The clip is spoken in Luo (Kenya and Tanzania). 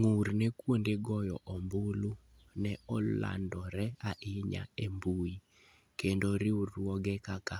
Ng'ur ne kuonde goyo ombulu ne olandore ahinya e mbui, kendo riwruoge kaka